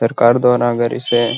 सरकार द्वारा अगर इसे --